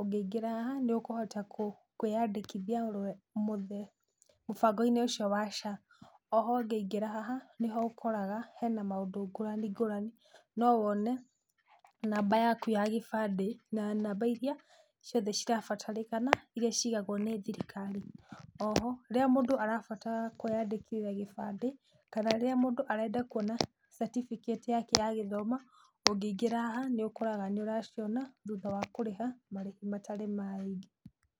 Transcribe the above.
ũngĩingĩra haha, nĩũkũhota kũ kwĩyandĩkithia, mũbangoinĩ ũcio wa SHA, oho ũngĩingĩra haha, nĩho ũkoraga hena maũndũ ngũrani ngũrani, no wone namba yaku ya gĩbandi, na namba iria ciothe cia bata cirabatarĩkana iria cigagwo nĩ thirikari, oho rĩrĩa mũndũ arabatara kwĩyandĩkithia gĩbandĩ, kana rĩrĩa mũndũ arenda kuona certificate yake ya gĩthomo, ũngĩingĩra haha, nĩũkoraga nĩũraciona, thutha wa kũrĩha marĩhi matarĩ maingĩ.